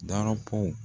Darapo